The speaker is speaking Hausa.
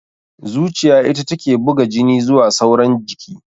Zuciya ita take buga jini zuwa sauran jiki